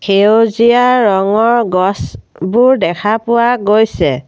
সেউজীয়া ৰঙৰ গছবোৰ দেখা পোৱা গৈছে।